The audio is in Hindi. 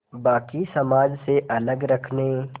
बाक़ी समाज से अलग रखने